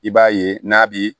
I b'a ye n'a bi